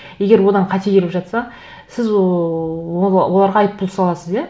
егер одан қате келіп жатса сіз оларға айыппұл саласыз иә